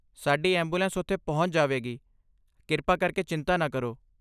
ਸਾਡੀ ਐਂਬੂਲੈਂਸ ਉੱਥੇ ਪਹੁੰਚ ਜਾਵੇਗੀ, ਕਿਰਪਾ ਕਰਕੇ ਚਿੰਤਾ ਨਾ ਕਰੋ।